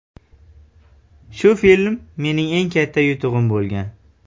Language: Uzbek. Shu film mening eng katta yutug‘im bo‘lgan.